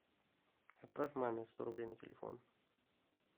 отправь маме сто рублей на телефон